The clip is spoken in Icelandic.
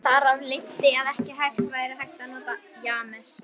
Þar af leiddi að ekki væri hægt að nota James